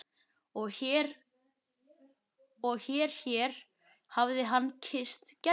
Og hér hér hafði hann kysst Gerði.